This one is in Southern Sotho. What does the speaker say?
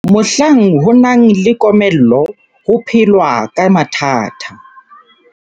Mohlang ho nang le komello ho phelwa ka mathata.